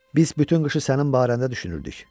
Biz bütün qışı sənin barəndə düşünürdük.